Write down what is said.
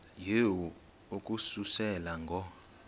yehu ukususela ngo